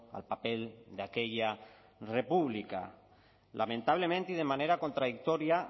al papel de aquella república lamentablemente y de manera contradictoria